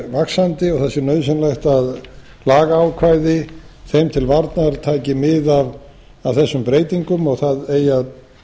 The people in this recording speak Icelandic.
vaxandi og það sé nauðsynlegt að lagaákvæði þeim til varnar taki mið af þessum breytingum og það eigi að